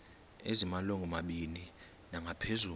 ezimalungu mabini nangaphezulu